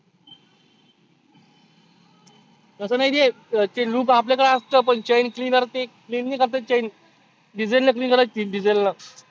तसं नाही ते chain loop आपल्याकड असतं पण chain cleaner ते clean नाही करता येत chain diesel करावा लागती diesel नं.